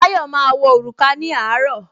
Táyọ̀ máa wọ òrùka ní àárọ̀